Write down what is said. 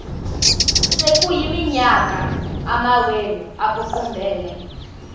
sekuyiminyaka amawenu ekuqumbele